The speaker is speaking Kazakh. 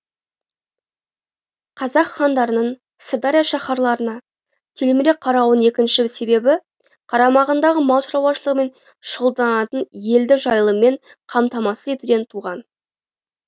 қазақ хандарының сырдария шаһарларына телміре қарауының екінші себебі қарамағындағы мал шаруашылығымен шұғылданатын елді жайылыммен қамтамасыз етуден туған